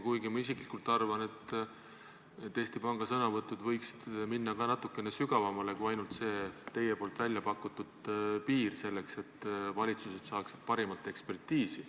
Kuigi ma isiklikult arvan, et Eesti Panga sõnavõtud võiksid minna ka natukene sügavamale kui ainult see teie väljapakutud piir, selleks et valitsused saaksid parimat ekspertiisi.